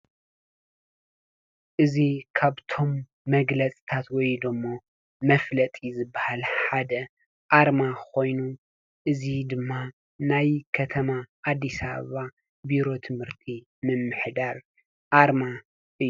እዚ ካብቶም መግለፅታት ወይ ደሞ መፋለጢ ዝብሃል ሓደ ኣርማ ኮይኑ እዚ ድማ ናይ ከተማ ኣዲስ ኣበባ ቢሮ ትምህርቲ ምምሕዳር ኣርማ እዩ።